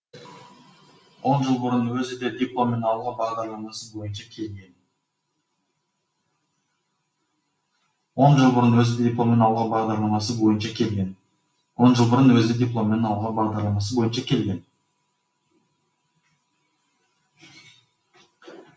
он жыл бұрын өзі де дипломмен ауылға бағдарламасы бойынша келген